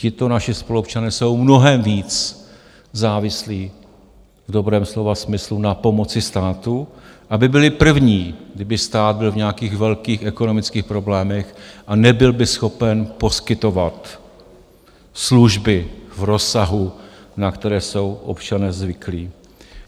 Tito naši spoluobčané jsou mnohem víc závislí v dobrém slova smyslu na pomoci státu, aby byli první, kdyby stát byl v nějakých velkých ekonomických problémech a nebyl by schopen poskytovat služby v rozsahu, na které jsou občané zvyklí.